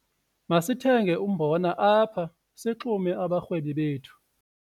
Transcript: Masithenge umbona apha sixume abarhwebi bethu.